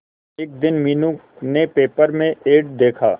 एक दिन मीनू ने पेपर में एड देखा